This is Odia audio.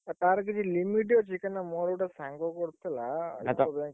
ଆଉ ତାର କିଛି limit ଅଛି କଇଁ ନା ମୋର ଗୋଟେ ସାଙ୍ଗ କରୁଥିଲା ।